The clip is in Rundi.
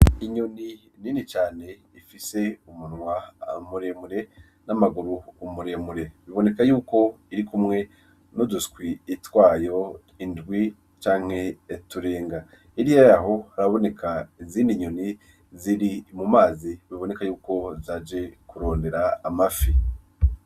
Inyoni nini cane ifise umunwa muremure n'amaguru umuremure biboneka yuko iri kumwe nouduswi itwayo indwi canke eturenga iri eraho haraboneka izini inyoni ziri mu mazi biboneka yuko zaje kurondera amafi.